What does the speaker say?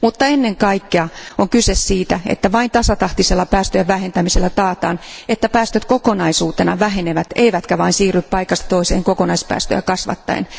Ennen kaikkea on kuitenkin kyse siitä, että vain tasatahtisella päästöjen vähentämisellä taataan, että päästöt kokonaisuutena vähenevät eivätkä vain siirry paikasta toiseen kokonaispäästöjä kasvattaen.